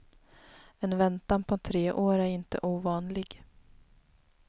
En väntan på tre år är inte ovanlig.